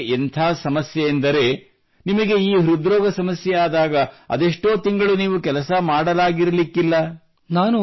ಬಡವರಿಗೆ ಎಂಥ ಸಮಸ್ಯೆಯೆಂದರೆ ನಿಮಗೆ ಈ ಹೃದ್ರೋಗ ಸಮಸ್ಯೆ ಆದಾಗ ಅದೆಷ್ಟೋ ತಿಂಗಳು ನೀವು ಕೆಲಸ ಮಾಡಲಾಗಿರಲಿಕ್ಕಿಲ್ಲ